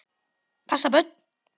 Passa börn?